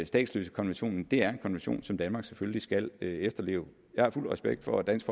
statsløsekonventionen er en konvention som danmark selvfølgelig skal efterleve jeg har fuld respekt for at dansk